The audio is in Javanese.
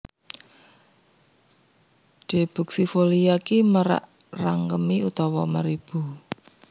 D buxifolia ki merak rangkemi utawa meribu